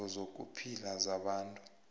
iindingo zokuphila zabantu